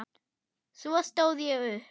Svo stóð ég upp.